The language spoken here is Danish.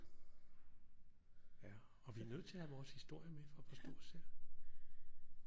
Ja og vi er nødt til at have vores historie med for at forstå os selv